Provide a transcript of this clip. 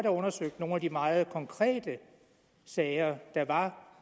undersøgt nogle af de meget konkrete sager der var